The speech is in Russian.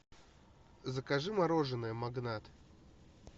закажи мороженое магнат